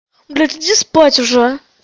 блядь иди спать уже а